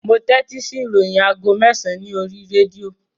Mo tẹ́tí sí ìròyìn aago mẹ́sàn-án ní oríi rédíò